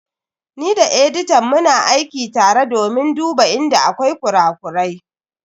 Ni da editan muna aiki tare domin duba inda akwai kura-kurai.